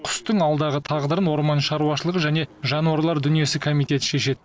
құстың алдағы тағдырын орман шаруашылығы және жануарлар дүниесі комитеті шешеді